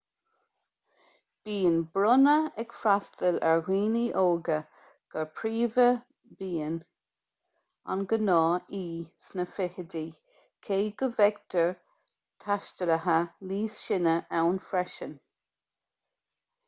bíonn brúnna ag freastal ar dhaoine óga go príomha bíonn an gnáth-aoi sna fichidí cé go bhfeictear taistealaithe níos sine ann freisin